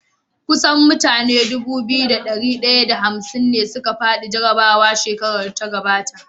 Kusan mutane Dubu biyu da dari daya da hamsin da ne suka fadi jarabawa shekarar da ta gabata